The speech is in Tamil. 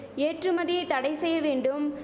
ஏற்றுமதியை தடை செய்ய வேண்டும்